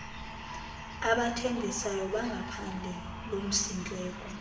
abathembisayo bangaphandle lomsindleko